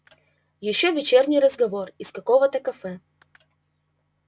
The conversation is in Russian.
ещё вечерний разговор из какого-то кафе